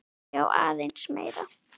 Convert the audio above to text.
Já, aðeins meira.